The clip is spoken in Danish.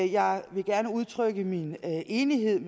jeg vil gerne udtrykke min enighed